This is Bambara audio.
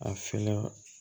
A fɛla